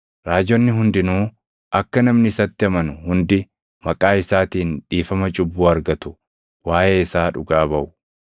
Raajonni hundinuu akka namni isatti amanu hundi maqaa isaatiin dhiifama cubbuu argatu waaʼee isaa dhugaa baʼu.”